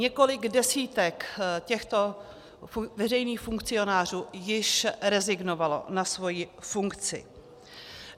Několik desítek těchto veřejných funkcionářů již rezignovalo na svoji funkci.